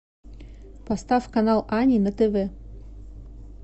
поставь канал ани на тв